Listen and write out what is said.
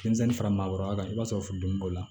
Denmisɛnnin fara maakɔrɔba kan i b'a sɔrɔ furudimi b'o la